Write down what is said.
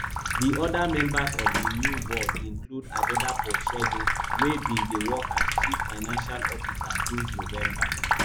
di oda members of di new board include adedapo segun wey bin dey work as chief financial officer since november